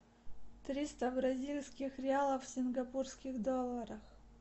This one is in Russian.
триста бразильских реалов в сингапурских долларах